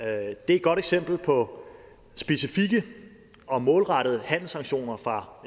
er et godt eksempel på specifikke og målrettede handelssanktioner fra